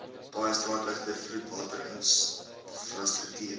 paaie straatligte vloedwaterinfrastruktuur